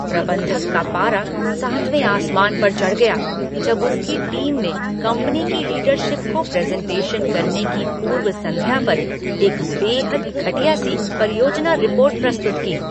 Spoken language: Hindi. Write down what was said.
प्रबंधक का पारा सातवें आसमान पर चढ़ गया जब उसकी टीम ने कंपनी की लीडरशिप को प्रेज़ेंटेशन करने की पूर्व संध्या पर एक बेहद घटिया सी परियोजना रिपोर्ट प्रस्तुत की।